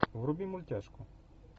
вруби мультяшку